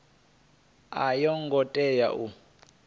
a yo ngo tea u